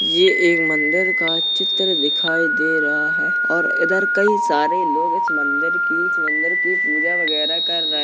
यह एक मंदिर का चित्र दिखाई दे रहा है और इधर कई सारे लोग इस मंदिर की मंदिर की पूजा वगैरह कर रहे --